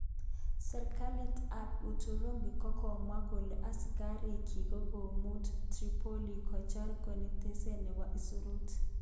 Sirkalit tab Uturuki kokamwa kole asikarik kyik kokokimut Tripoli kocher konetishet nebo isurut.